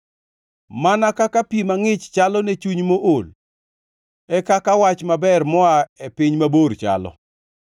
Mana kaka pi mangʼich chalo ne chuny mool, e kaka wach maber moa e piny mabor chalo.